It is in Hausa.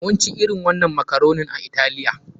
Mun ci irin wannan makaronin a Italiya.